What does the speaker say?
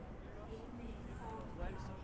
Einmitt það, já.